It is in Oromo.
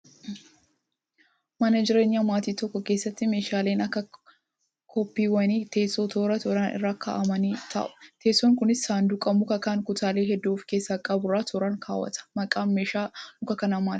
Maan jireenyaa maatii tokkoo keessatti meeshaaleen akka kopheewwanii teessoo toora tooraan irra kaa'amanii taa'u. Teessoon Kunis saanduqa mukaa kan kutaalee hedduu of keessaa qaburra tooraan kaawwata. Maqaan meeshaa muka kanaa maali?